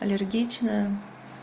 аллергичная